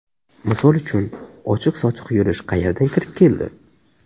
Misol uchun, ochiq-sochiq yurish qayerdan kirib keldi?!